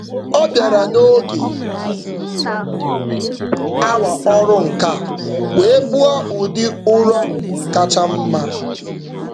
Ọ bịara n'oge awa ọrụ nka wee kpụọ ụdị ụrọ kacha mma.